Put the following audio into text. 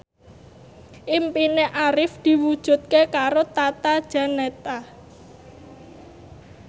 impine Arif diwujudke karo Tata Janeta